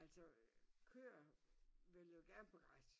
Altså køer vil jo gerne på græs